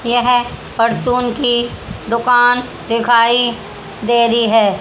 यह परचून की दुकान दिखाई दे रही है।